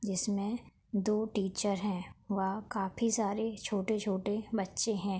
जिसमें दो टीचर है व काफी सारे छोटे-छोटे बच्चे है।